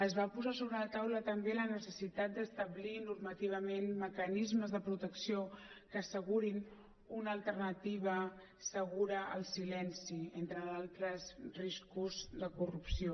es va posar sobre la taula també la necessitat d’establir normativament mecanismes de protecció que assegurin una alternativa segura al silenci entre d’altres riscos de corrupció